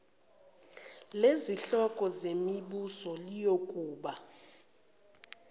lezinhloko zemibuso liyokuba